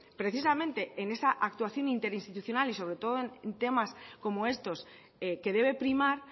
precisamente en esa actuación interinstitucional y sobre todo en temas como estos que debe primar